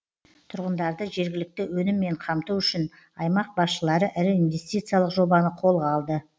тұрғындарды жергілікті өніммен қамту үшін аймақ басшылары ірі инвестициялық жобаны қолға алды